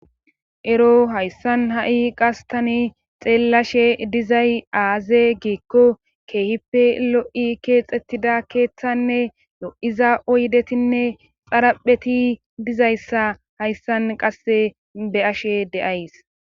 Ero hayssan ha7i qastani xeellashe dizay aaze giikko keehipe lo7i keexxettida keeththanne lo7iza oydetinne xarapheti dizayssa hayssan qasse be ashe de7ays